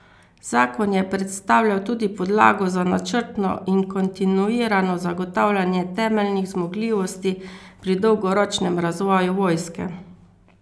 Zakon je predstavljal tudi podlago za načrtno in kontinuirano zagotavljanje temeljnih zmogljivosti pri dolgoročnem razvoju vojske.